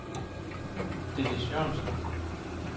Dennis Jørgensen